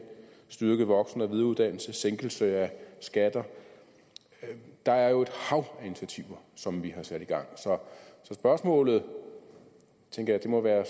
styrket voksen og videreuddannelse og sænkelse af skatter der er jo et hav af initiativer som vi har sat i gang så spørgsmålet tænker jeg må være